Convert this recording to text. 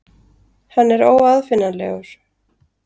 Hann er óaðfinnanlegur.